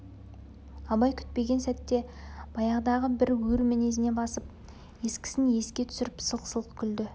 абай күтпеген сәтте баяғыдағы бір өр мінезіне басып ескісін еске түсіріп сылқ-сылқ күлді